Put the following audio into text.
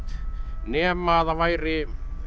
nema það væri